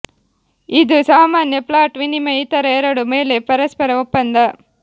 ಇದು ಸಾಮಾನ್ಯ ಫ್ಲಾಟ್ ವಿನಿಮಯ ಇತರ ಎರಡು ಮೇಲೆ ಪರಸ್ಪರ ಒಪ್ಪಂದ